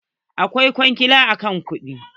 Aikin kwangila akwai kuɗi.